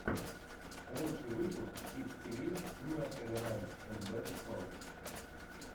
лучший выпуск кидс ти ви нерсери раймс энд бэби сонгс